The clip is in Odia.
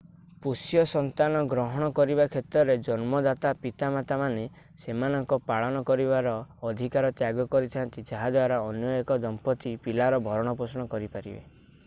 ପୋଷ୍ୟ ସନ୍ତାନ ଗ୍ରହଣ କରିବା କ୍ଷେତ୍ରରେ ଜନ୍ମଦାତା ପିତାମାତାମାନେ ସେମାନଙ୍କର ପାଳନ କରିବାର ଅଧିକାର ତ୍ୟାଗ କରିଥା'ନ୍ତି ଯାହା ଦ୍ୱାରା ଅନ୍ୟ ଏକ ଦମ୍ପତି ପିଲାର ଭରଣପୋଷଣ କରିପାରିବେ